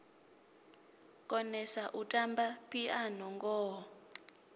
konesa u tamba phiano ngoho